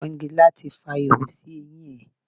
Pọ́ngilá ti fa ihò sí eyín ẹ.